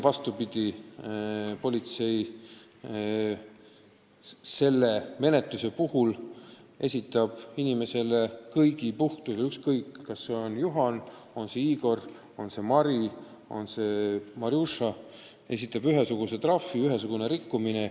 Vastupidi, politsei esitab selle menetluse puhul kõikidele inimestele, olgu rikkuja Juhan, Igor, Mari või Marjuša, ühesuguse trahvi, kui on ühesugune rikkumine.